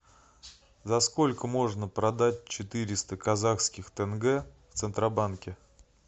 за сколько можно продать четыреста казахских тенге в центробанке